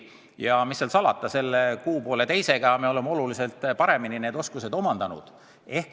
Ja mis seal salata, selle kuu-pooleteisega me oleme need oskused oluliselt paremini omandanud.